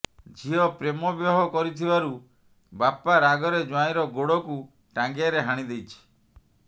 ଝିଅ ପ୍ରେମ ବିବାହ କରିଥିବାରୁ ବାପା ରାଗରେ ଜ୍ବାଇଁର ଗୋଡକୁ ଟାଙ୍ଗିଆରେ ହାଣିଦେଇଛି